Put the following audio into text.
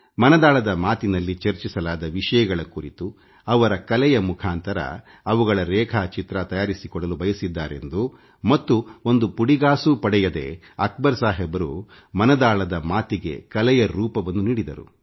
ಮನದಾಳದ ಮಾತಿನಲ್ಲಿ ಚರ್ಚಿಸಲಾದ ವಿಷಯಗಳ ಕುರಿತು ಅವರ ಕಲೆಯ ಮುಖಾಂತರ ಅವುಗಳ ರೇಖಾ ಚಿತ್ರ ತಯಾರಿಸಿಕೊಡಲು ಬಯಸಿದ್ದಾರೆಂದು ಮತ್ತು ಒಂದು ಪುಡಿಗಾಸೂ ಪಡೆಯದೇ ಅಕ್ಬರ್ ಸಾಹಬ್ ಅವರು ಮನದಾಳದ ಮಾತಿಗೆ ಕಲೆಯ ರೂಪವನ್ನು ನೀಡಿದ್ದಾರೆ